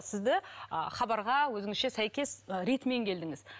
сізді ы хабарға өзіңізше сәйкес ретімен келдіңіз